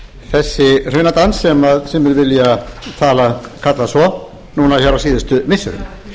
þessi hrunadans sem menn vilja kalla svo núna hér á síðustu missirum